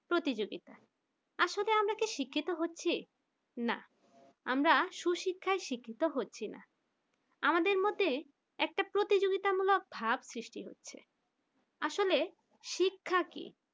প্রতিযোগিতা আসলে আমরা শিক্ষিত হচ্ছি না আমরা সুশিক্ষায় শিক্ষিত হচ্ছে না আমাদের মধ্যে একটা প্রতিযোগিতামূলক ভাব সৃষ্টি হচ্ছে আসলে শিক্ষা কি